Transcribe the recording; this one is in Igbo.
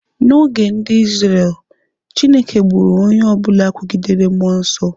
N'oge ndị Izrel, Chineke gburu onye ọ bụla kwugidere mmụọ nsọ.